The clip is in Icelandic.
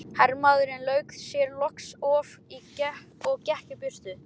Hermaðurinn lauk sér loks af og gekk í burtu.